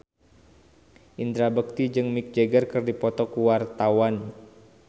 Indra Bekti jeung Mick Jagger keur dipoto ku wartawan